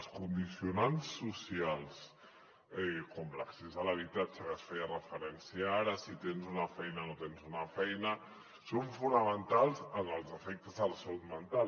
els condicionants socials com l’accés a l’habitatge a què es feia referència ara si tens una feina no tens una feina són fonamentals en els efectes de la salut mental